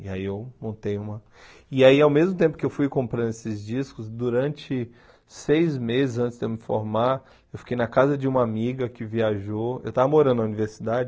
E aí eu montei uma... E aí, ao mesmo tempo que eu fui comprando esses discos, durante seis meses antes de eu me formar, eu fiquei na casa de uma amiga que viajou, eu estava morando na universidade,